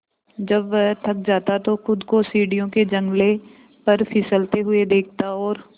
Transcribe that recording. जब वह थक जाता तो खुद को सीढ़ियों के जंगले पर फिसलते हुए देखता और